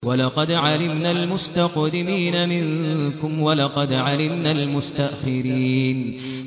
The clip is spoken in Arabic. وَلَقَدْ عَلِمْنَا الْمُسْتَقْدِمِينَ مِنكُمْ وَلَقَدْ عَلِمْنَا الْمُسْتَأْخِرِينَ